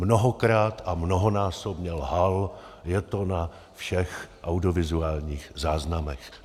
Mnohokrát a mnohonásobně lhal, je to na všech audiovizuálních záznamech.